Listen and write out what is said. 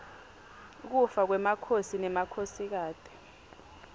kufa kwemakhosi nemakhosikati